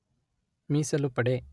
ಮೀಸಲು ಪಡೆ